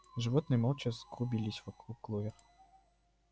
животные молча сгрудились вокруг кловер